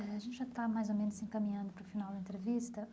A gente já está, mais ou menos, se encaminhando para o final da entrevista.